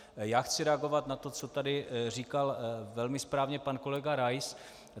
Já chci reagovat na to, co tady říkal velmi správně pan kolega Rais.